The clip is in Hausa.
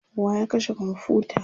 wa ya kashe komfuta?